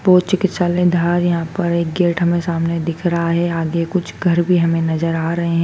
चिकित्सालय यहां पर एक गेट हमें सामने दिख रहा है आगे कुछ घर भी हमें नजर आ रहे--